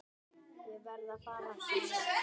Ég verð að fara, sagði